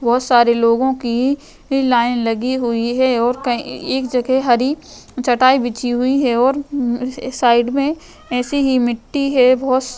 बहुत सारे लोगों की लाइन लगी हुई है और कई एक जगह हरी चटाई बिछी हुई है और साइड में ऐसे ही मिट्टी है बहुत --